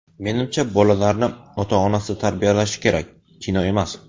Menimcha, bolalarni ota-onasi tarbiyalashi kerak, kino emas.